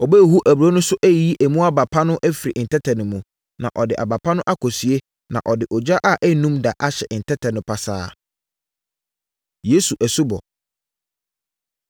Ɔbɛhuhu aburoo no so ayiyi mu aba pa no afiri ntɛtɛ no mu, na ɔde aba pa no akɔsie, na ɔde ogya a ɛnnum da ahye ntɛtɛ no pasaa.” Yesu Asubɔ